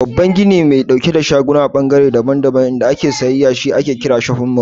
Babban gini mai ɗauke da shaguna da ɓangare daban-daban inda ake sayayya shi ake kira "shofin mall".